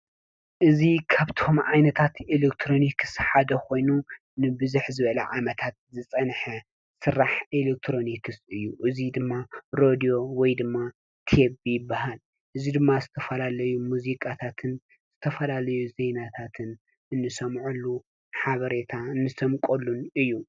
እዚ ካብቶም ዓይነታት ኤሌክትሮኒክስ ሓደ ኮይኑ ንብዝሕ ዝበለ ዓመታት ዝፀንሐ ስራሕቲ ኤሌክትሮኒክስ እዩ። እዚ ድማ ሬድዮ ወይ ድማ ቴብ ይበሃል። እዚ ድማ ዝተፈላለዩ ሙዚቃታትን ዝተፈላለዩ ዜናታትን እነሰምዐሉ ሓበሬታ እንሰንቀሉን እዩ።